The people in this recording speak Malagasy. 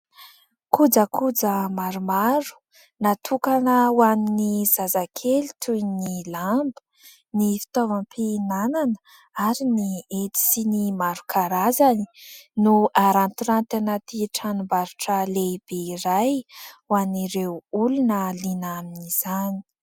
Kojakoja maromaro natokana ho an'ny zazakely toy ny lamba, ny fitaovam-pihinana ary ny hety sy ny maro karazany no arantiranty anaty tranombarotra lehibe iray ho an'ireo olona liana amin'izany.